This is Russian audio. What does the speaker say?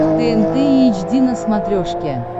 тнт эйч ди на смотрешке